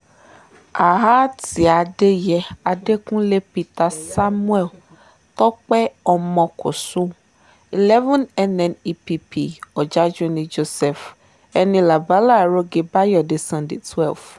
adẹ̀yẹ adẹkùnlé peter samuel tọ̀pẹ́ ọmọkọ́sọ eleven nnepp ọ̀jájúní joseph enílábala àròge báyọ̀dé sunday twelve